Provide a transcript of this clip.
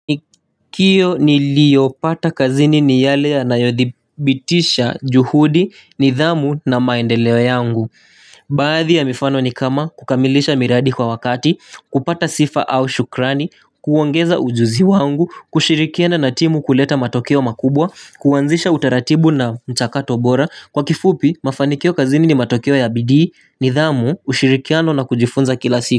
Mafanikio niliyopata kazini ni yale ya nayodhibitisha juhudi ni dhamu na maendeleo yangu Baadhi ya mifano ni kama kukamilisha miradi kwa wakati, kupata sifa au shukrani, kuongeza ujuzi wangu, kushirikiana na timu kuleta matokeo makubwa, kuanzisha utaratibu na mchakato bora Kwa kifupi, mafanikio kazini ni matokeo ya bidii ni dhamu, ushirikiano na kujifunza kila siku.